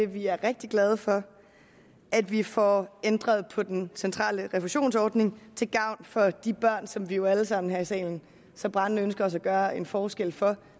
vi er rigtig glade for at vi får ændret på den centrale refusionsordning til gavn for de børn som vi jo alle sammen her i salen så brændende ønsker at gøre en forskel for